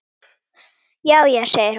Já, já segir hún.